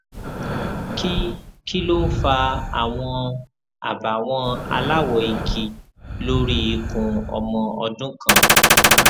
kí kí ló ń fa àwọn àbàwọn aláwọ igi lórí ikùn ọmọ ọdún kan